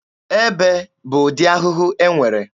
Ebe bụ ụdị ahụhụ e nwere.